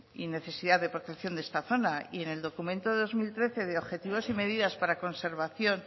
y necesidad de protección de esta zona y en el documento de dos mil trece de objetivos y medidas